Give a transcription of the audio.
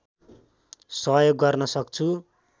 सहयोग गर्न सक्छु